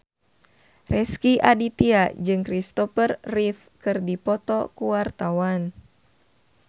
Rezky Aditya jeung Kristopher Reeve keur dipoto ku wartawan